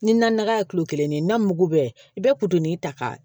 Ni naga ye kulo kelen de ye na mugu bɛɛ i be ta ka